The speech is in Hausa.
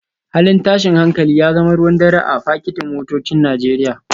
Halin tashin hankali ya zama ruwan dare a fakitin motocin Najeriya